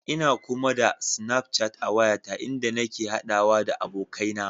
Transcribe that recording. Ina kuma da Snafchat a wayata inda nake haɗawa da abokaina.